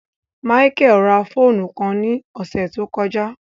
Michael rá fóònù kàn ni ọsẹ to kọja